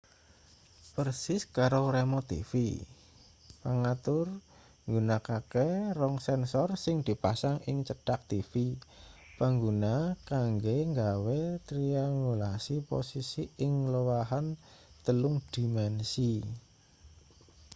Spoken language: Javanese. persis karo remot tv pangatur nggunakake rong sensor sing dipasang ing cedhak tv pangguna kanggo nggawe triangulasi posisi ing lowahan telung dimensi